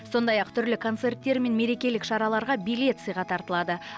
сондай ақ түрлі концерттермен мерекелік шараларға билет сыйға тартылады